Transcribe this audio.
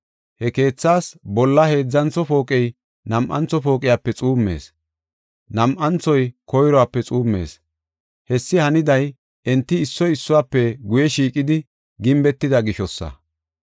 He keethas bolla heedzantho pooqey nam7antho pooqiyape xuummees; nam7anthoy koyruwape xuummees. Hessi haniday enti issoy issuwafe guye shiiqidi gimbetida gishosa.